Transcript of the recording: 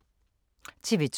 TV 2